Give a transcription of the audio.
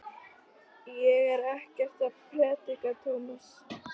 Ég er ekkert að predika, Tómas.